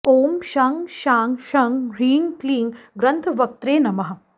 ॐ शं शां षं ह्रीं क्लीं ग्रन्थवक्त्रे नमः